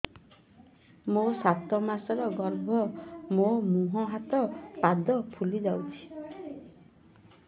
ମୋ ସାତ ମାସର ଗର୍ଭ ମୋ ମୁହଁ ହାତ ପାଦ ଫୁଲି ଯାଉଛି